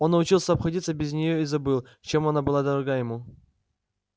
он научился обходиться без неё и забыл чем она была дорога ему